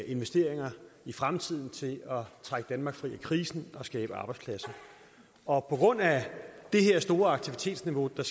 investeringer i fremtiden til at trække danmark fri af krisen og skabe arbejdspladser og på grund af det her store aktivitetsniveau der